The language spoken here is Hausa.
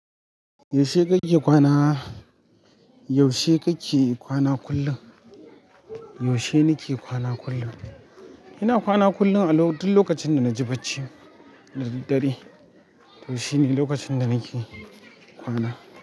Yaushe kake kwana, yaushe kake kwana kullum? Yaushe nake kwana kullum. Ina kwana kullum a duk lokacin da na ji barci da daddare. To shine lokacin da nake kwana.